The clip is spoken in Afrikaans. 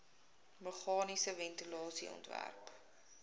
meganiese ventilasie ontwerp